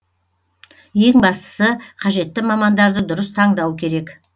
ең бастысы қажетті мамандарды дұрыс таңдау керек